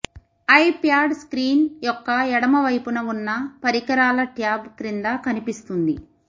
iPad screen యొక్క ఎడమ వైపున ఉన్న పరికరాల ట్యాబ్ క్రింద కనిపిస్తుంది